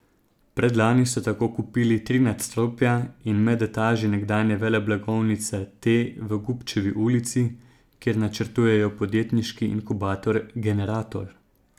Predlani so tako kupili tri nadstropja in medetaži nekdanje veleblagovnice T v Gubčevi ulici, kjer načrtujejo podjetniški inkubator Generator.